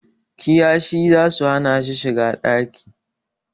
Kiyashih zasu hana shi shiga ɗaki